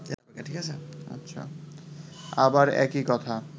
আবার একই কথা